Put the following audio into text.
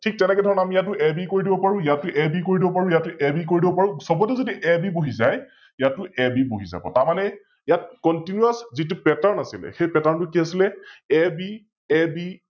ঠিক তেনেকৈ ধৰণৰ আমি ইয়াতো AB কৰি দিব পাৰো, ইয়াতো AB কৰি দিব পাৰো, ইয়াতো AB কৰি দিব পাৰো, সৱতে যদি AB বহি যায়, ইয়াতো AB বহি যাব । তাৰমানে ইয়াত Continous যিতো Pattern আছিল সৈই Pattern টো কি আছিলে, AB, AB